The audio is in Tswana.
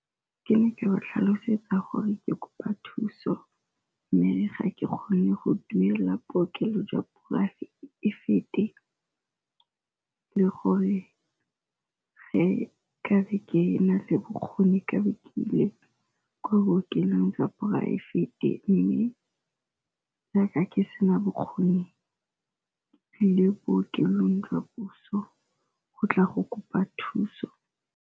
Ke ne ke ba tlhalosetsa gore ke kopa thuso, mme ga ke kgone go duelela bookelo jwa poraefete le gore ge ka be ke na le bokgoni ka be ke ile ko bookelong tsa poraefete. Mme jaaka ke sena bokgoni ke tlile bookelong jwa puso go tla go kopa thuso.